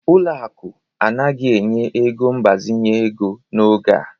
Ụlọ akụ anaghị enye ego mgbazinye ego n'oge a